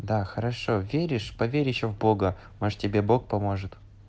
да хорошо веришь поверить ещё в бога может тебе бог поможет